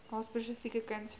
haar spesifieke kunsvorm